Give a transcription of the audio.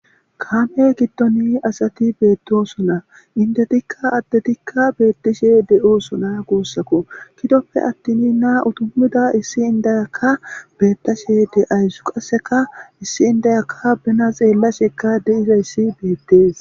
Kaame gidon asati beetosona indetika addetika beetishe de'osona guusako gidoppe attin na'a udumida issi indiyaka beetashe de'awus qasekka issi indiyaka bena xeelashe de'izayssi beetes.